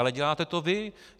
Ale děláte to vy.